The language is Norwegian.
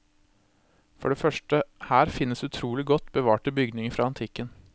For det første her finnes utrolig godt bevarte bygninger fra antikken.